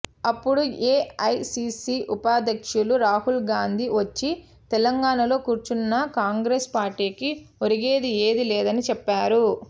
అప్పుడు ఏఐసీసీ ఉపాధ్యక్షులు రాహుల్ గాంధీ వచ్చి తెలంగాణలో కూర్చున్నా కాంగ్రెస్ పార్టీకి ఒరిగేది ఏదీ లేదని చెప్పారు